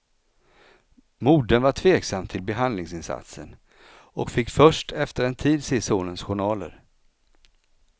Modern var tveksam till behandlingsinsatsen och fick först efter en tid se sonens journaler.